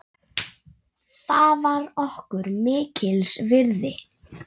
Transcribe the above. Það var okkur mikils virði.